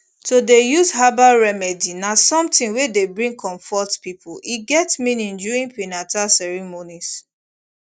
to dey use herbal remedy na something wey dey bring comfort people e get meaning during prenata ceremonies